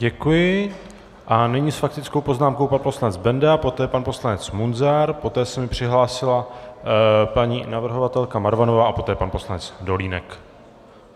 Děkuji a nyní s faktickou poznámkou pan poslanec Benda, poté pan poslanec Munzar, poté se mi přihlásila paní navrhovatelka Marvanová a poté pan poslanec Dolínek.